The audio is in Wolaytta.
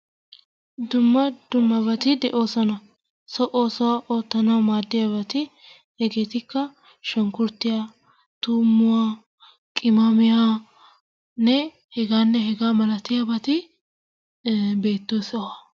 Dumma dummabati de'oosona. So oosuwa oottanawu maadiyabati hegettikka shunkkurtiya, tuummuwa, qimmamiyanne heganne hegaa malatiyabati beettiyo sohuwa.